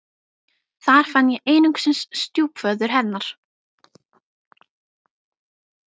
Þar fann ég einungis stjúpföður hennar.